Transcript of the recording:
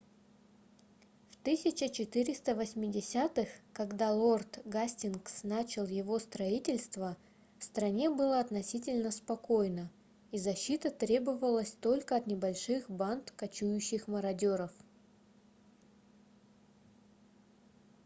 в 1480-х когда лорд гастингс начал его строительство в стране было относительно спокойно и защита требовалась только от небольших банд кочующих мародеров